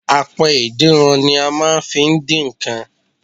Apẹ ìdínran ni a máa n fi dín nkan